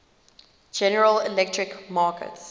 general electric markets